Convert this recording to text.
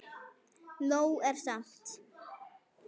Nóg er samt.